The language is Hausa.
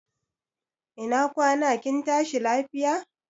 Ina kwana kin tashi lafiya?